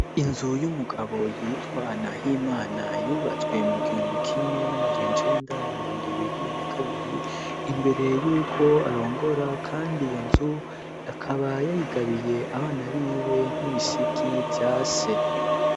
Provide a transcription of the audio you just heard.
Inzu y'umugabo yitwa Nahimana yubatswe mu gihumbi kimwe n'amajencenda na mirungu ibiri na kabiri imbere y'uko arongora kandi iyo nzu akaba yayigabiye abana biwe nk'ibisigi vya se.